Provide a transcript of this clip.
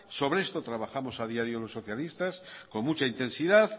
sobre esto trabajamos a diario los socialistas con mucha intensidad